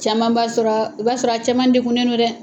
Caman b'a sɔrɔ i b'a sɔrɔ a caman dekunnen don dɛ